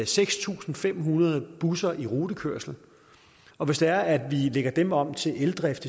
seks tusind fem hundrede busser i rutekørsel og hvis det er at vi lægger dem om til eldrift